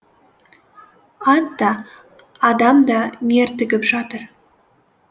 ат та адам да мертігіп жатыр